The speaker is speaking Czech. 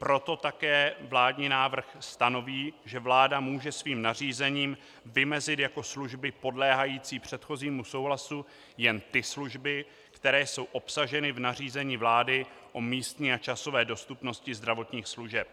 Proto také vládní návrh stanoví, že vláda může svým nařízením vymezit jako služby podléhající předchozímu souhlasu jen ty služby, které jsou obsaženy v nařízení vlády o místní a časové dostupnosti zdravotních služeb.